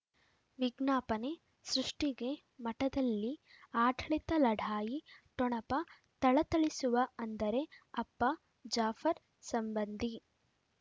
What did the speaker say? ವಿಜ್ಞಾಪನೆ ಸೃಷ್ಟಿಗೆ ಮಠದಲ್ಲಿ ಆಡಳಿತ ಲಢಾಯಿ ಠೊಣಪ ಥಳಥಳಿಸುವ ಅಂದರೆ ಅಪ್ಪ ಜಾಫರ್ ಸಂಬಂಧಿ